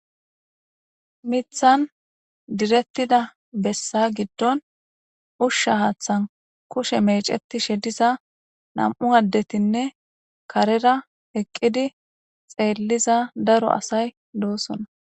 Mithan direttida bessa giddon ushsha haaththan kushe meeceti shediza nam'u addetinne karera eqqidi xeelliza daro asay doosona.